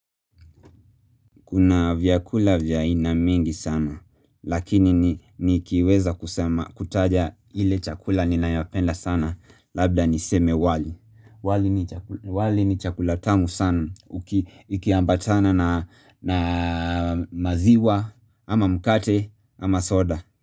Kuna vyakula vya aina mengi sana, lakini nikiweza kusema kutaja ile chakula ninayopenda sana, labda niseme wali, wali ni chakula wali ni chakula tamu sana, ikiambatana na maziwa, ama mkate, ama soda.